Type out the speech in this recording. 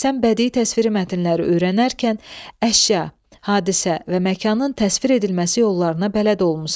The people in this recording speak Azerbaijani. Sən bədii təsviri mətnləri öyrənərkən əşya, hadisə və məkanın təsvir edilməsi yollarına bələd olmusan.